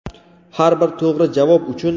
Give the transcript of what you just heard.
har bir to‘g‘ri javob uchun:.